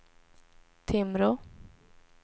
Timrå